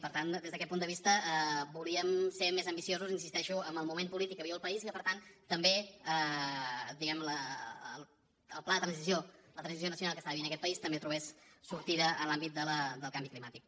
per tant des d’aquest punt de vista volíem ser més ambiciosos hi insisteixo amb el moment polític que viu el país i que per tant també el pla de transició la transició nacional que està vivint aquest país també trobés sortida en l’àmbit del canvi climàtic